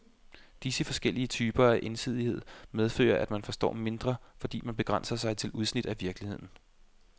Disse forskellige typer af ensidighed medfører, at man forstår mindre, fordi man begrænser sig til udsnit af virkeligheden.